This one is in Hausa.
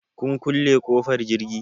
Kun kule ƙofar jirgi?